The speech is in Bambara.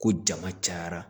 Ko jama cayara